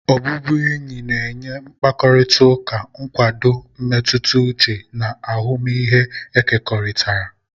Ọbụbụ enyi na-enye mkpakọrịta, nkwado mmetụta uche, na ahụmịhe ekekọrịtara.